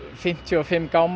fimmtíu og fimm gámum